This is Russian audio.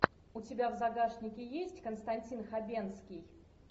у тебя в загашнике есть константин хабенский